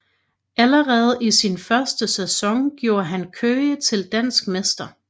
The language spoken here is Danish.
Allerede i sin første sæson gjorde han Køge til dansk mester